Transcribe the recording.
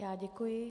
Já děkuji.